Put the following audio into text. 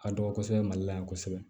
A dɔgɔ kosɛbɛ mali la yan kosɛbɛ